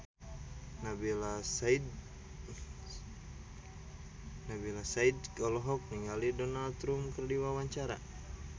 Nabila Syakieb olohok ningali Donald Trump keur diwawancara